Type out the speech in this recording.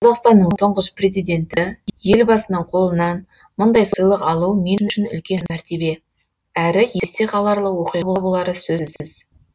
қазақстанның тұңғыш президенті елбасының қолынан мұндай сыйлық алу мен үшін үлкен мәртебе әрі есте қаларлық оқиға болары сөзсіз